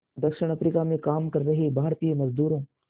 दक्षिण अफ्रीका में काम कर रहे भारतीय मज़दूरों